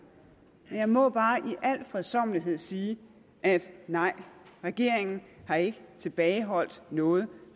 men jeg må bare i al fredsommelighed sige at nej regeringen har ikke tilbageholdt noget